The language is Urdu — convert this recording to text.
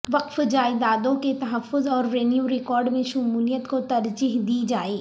وقف جائیدادوں کے تحفظ اور ریونیو ریکارڈ میں شمولیت کو ترجیح دی جائے